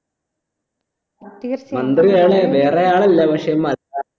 മന്ത്രിയാല് വേറെയാളല്ല പക്ഷെ